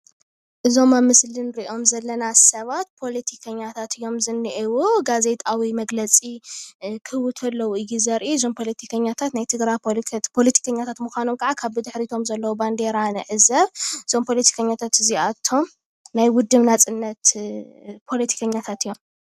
እዞም ኣብ ምስሊ ንሪኦም ዘለና ሰባት ፖለቲከኛታት እዮም ዝኒአው። ጋዜጣዊ መግለፂ ክህቡ ተለው እዩ ዘርኢ። እዞም ፖለቲከኛታት ናይ ትግራይ ፖለቲከኛታት ምኳኖም ከኣ ካብ ብድሕሪቶም ዘሎ ባንዴራ ንዕዘብ። እዞም ፖለቲከኛታት እዚኣቶም ናይ ውድብ ናፅነት ፖለቲከኛታት እዮም።